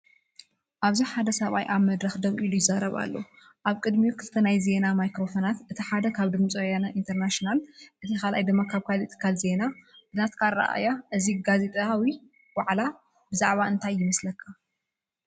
ኣብዚ ሓደ ሰብኣይ ኣብ መድረክ ደው ኢሉ ይዛረብ ኣሎ። ኣብ ቅድሚኡ ክልተ ናይ ዜና ማይክሮፎናት፤ እቲ ሓደ ካብ “ድምፂ ወያነ ኢንተርናሽናል” እቲ ካልኣይ ድማ ካብ ካልእ ትካል ዜና። ብናትካ ኣረኣእያ እዚ ጋዜጣዊ ዋዕላ ብዛዕባ እንታይ ይመስለካ?